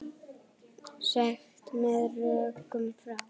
Sagt með rökum frá.